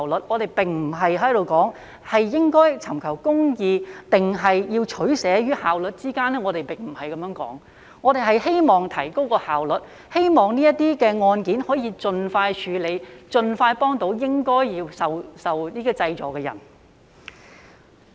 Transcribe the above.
我們並非說，應在尋求公義與效率之間作出取捨，並非如此，而是我們希望提高效率，希望這類案件可以盡快得以處理，盡快協助應該受濟助的人。